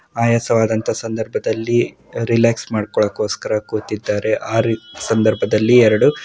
ಆಯಾಸವಾದಂತಹ ಸಂದರ್ಭದಲ್ಲಿ ರೀಲಾಕ್ಸ್‌ ಮಾಡಿಕೊಳ್ಳುಕೋಸ್ಕರ ಕೂತಿದ್ದಾರೆ ಆ ಸಂದರ್ಭದಲ್ಲಿ ಎರಡು--